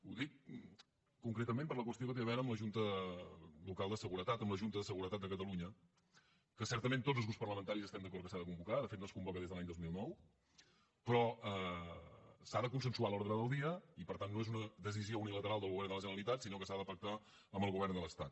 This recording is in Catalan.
ho dic concretament per la qüestió que té a veure amb la junta local de seguretat amb la junta de seguretat de catalunya que certament tots els grups parlamentaris estem d’acord que s’ha de convocar de fet no es convoca des de l’any dos mil nou però se n’ha de consensuar l’ordre del dia i per tant no és una decisió unilateral del govern de la generalitat sinó que s’ha de pactar amb el govern de l’estat